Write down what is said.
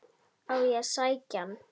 Á ég að sækja hann?